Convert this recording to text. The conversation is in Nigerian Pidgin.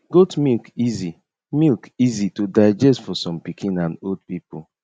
goat milk easy milk easy to digest for some pikin and old people